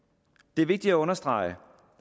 det er vigtigt at understrege